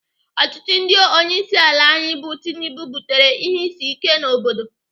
Ọchịchị ndị onyeisiala anyị bụ Tinubu butere ihe isi ike n'obodo.